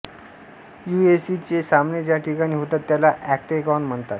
युएफसीचे सामने ज्या ठिकाणी होतात त्याला ऑक्टेगाॅन म्हनतात